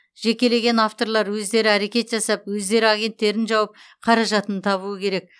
жекелеген авторлар өздері әрекет жасап өздері агенттерін тауып қаражатын табуы керек